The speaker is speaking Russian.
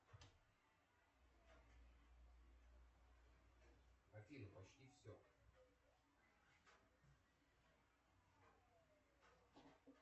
афина почти все